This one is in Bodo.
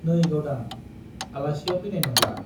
नै गावदां , आलासिया फैनाय नंला ।